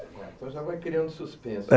Então já vai criando suspense.